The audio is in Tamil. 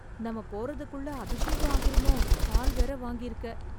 நம்ம போறதுக்குல்ல அபிஷேகம் ஆகிறுமோ பால் வேற வாங்கிருக்க